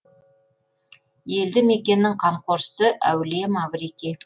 елді мекеннің қамқоршысы әулие маврикий